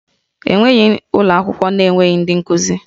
E nweghị ụlọ akwụkwọ na-enweghị ndị nkuzi